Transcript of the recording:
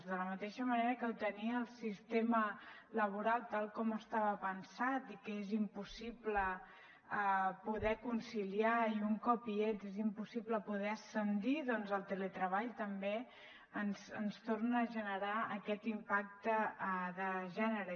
de la mateixa manera que ho tenia el sistema laboral tal com estava pensat i que és impossible poder conciliar i un cop hi ets és impossible poder ascendir doncs el teletreball també ens torna a generar aquest impacte de gènere